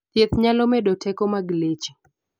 thieth nyalo medo teko mag leche